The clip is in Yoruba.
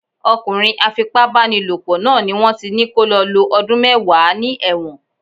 Ọkùnrin á fi pá bá ni lò pọ̀ náà ni wón ti ní kó lọ lo ọdún mẹ́wàá ní ẹ̀wọ̀n.